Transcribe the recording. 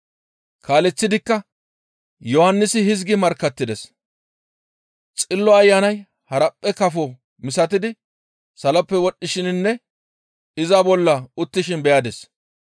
Kaaleththidikka Yohannisi hizgi markkattides; «Xillo Ayanay haraphphe kafo misatidi saloppe wodhdhishininne iza bolla uttishin beyadis.